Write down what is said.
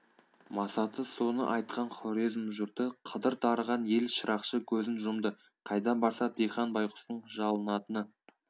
масаты соны айтқан хорезм жұрты қыдыр дарыған ел шырақшы көзін жұмды қайда барса дихан байғұстың жалынатыны